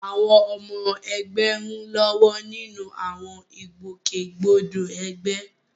Àwọn ọmọ ẹgbẹ́ ń lọ́wọ́ nínú àwọn ìgbòkègbodò ẹgbẹ́.